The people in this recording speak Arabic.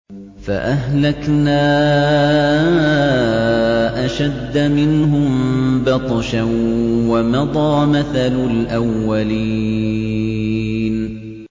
فَأَهْلَكْنَا أَشَدَّ مِنْهُم بَطْشًا وَمَضَىٰ مَثَلُ الْأَوَّلِينَ